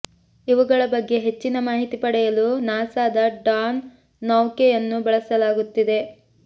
ಇವುಗಳ ಬಗ್ಗೆ ಹೆಚ್ಚಿನ ಮಾಹಿತಿ ಪಡೆಯಲು ನಾಸಾದ ಡಾನ್ ನೌಕೆಯನ್ನು ಬಳಸಲಾಗುತ್ತಿದೆ